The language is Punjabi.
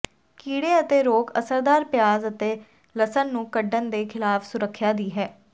ਕੀੜੇ ਅਤੇ ਰੋਗ ਅਸਰਦਾਰ ਪਿਆਜ਼ ਅਤੇ ਲਸਣ ਨੂੰ ਕੱਡਣ ਦੇ ਖਿਲਾਫ ਸੁਰੱਖਿਆ ਦੀ ਹੈ